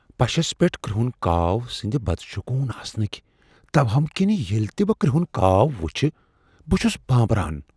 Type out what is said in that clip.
پشس پیٹھ كرہُن كاو سندِ بد شگوٗن آسنٕكہِ توہُم كِنہِ ییلہِ تہِ بہٕ كر٘ہُن كاو وُچھہِ بہٕ چُھس بانبران ۔